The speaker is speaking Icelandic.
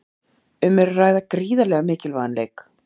Um er að ræða gríðarlega mikilvægan leik.